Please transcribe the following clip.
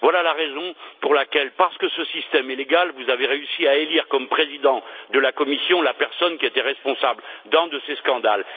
Voilà la raison pour laquelle, parce que ce système est légal, vous avez réussi à élire comme président de la Commission la personne qui était responsable d'un de ces scandales.